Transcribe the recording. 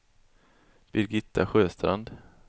Birgitta Sjöstrand